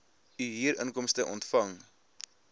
u huurinkomste ontvang